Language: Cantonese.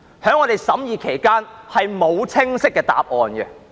在我們審議期間，並無清晰的答案。